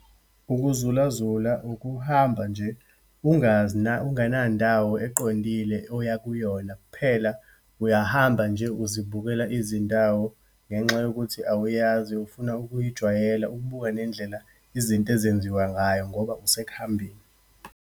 Ukuzulazula, ukuhamba nje ungazi ungana ndawo eqondile oya kuyona. Kuphela uyahamba nje, uzibukela izindawo ngenxa yokuthi awuyazi, ufuna ukuyijwayela, ukubuka nendlela izinto ezenziwa ngayo ngoba usekuhambeni.